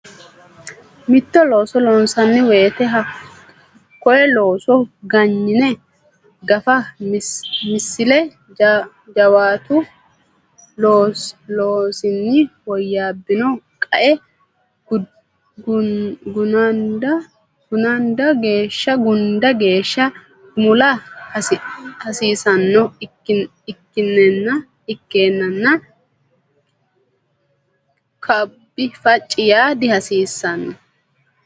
Mitto looso loonsanni woyte hakko looso ganyine gafa Misile Jawaatu loosinni woyyaabbino qae gunda geeshsha gumula hasiissanno ikkinninna kabbi facci yaa dihasiissanno.